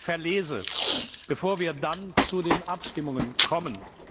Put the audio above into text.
verlese, bevor wir dann zu den Abstimmungen kommen.